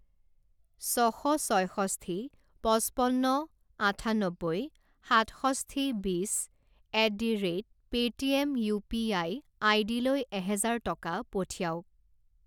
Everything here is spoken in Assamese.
ছ শ ছয়ষষ্ঠি পঁচপন্ন আঠান্নব্বৈ সাতষষ্ঠি বিছ at the rate Paytm U P I আইডিলৈ এহাজাৰ টকা পঠিৱাওক।